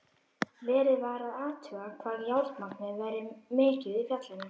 Verið var að athuga hvað járnmagnið væri mikið í fjallinu.